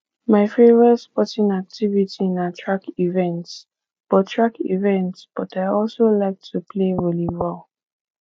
my favorite sporting activity na track events but track events but i also like to play volleyball